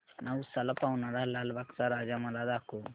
नवसाला पावणारा लालबागचा राजा मला दाखव